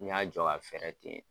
N y'a jɔ k'a fɛɛrɛ ten.